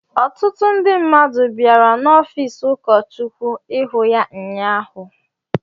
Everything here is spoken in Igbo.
Ọtụtụ ndị mmadụ bịara n’ọfiisi ụkọchukwu ịhụ ya ụnyaahụ.